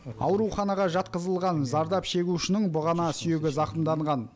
ауруханаға жатқызылған зардап шегушінің бұғана сүйегі зақымданған